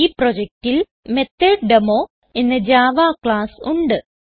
ഈ പ്രൊജക്റ്റിൽ മെത്തോട്ടേമോ എന്ന ജാവ ക്ലാസ്സ് ഉണ്ട്